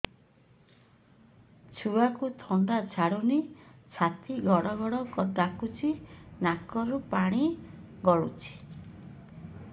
ଛୁଆକୁ ଥଣ୍ଡା ଛାଡୁନି ଛାତି ଗଡ୍ ଗଡ୍ ଡାକୁଚି ନାକରୁ ପାଣି ଗଳୁଚି